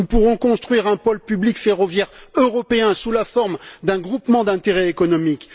nous pourrons construire un pôle public ferroviaire européen sous la forme d'un groupement d'intérêt économique.